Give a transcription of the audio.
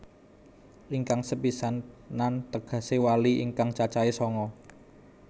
Ingkang sepisanan tegesé wali ingkang cacahe sanga